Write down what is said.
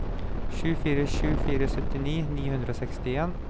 sju fire sju fire syttini ni hundre og sekstien